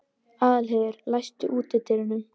Aðalheiður, læstu útidyrunum.